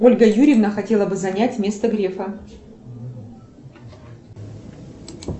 ольга юрьевна хотела бы занять место грефа